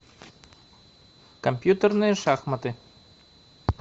компьютерные шахматы